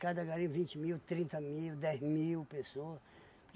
Cada garimpo vinte mil, trinta mil, dez mil pessoa.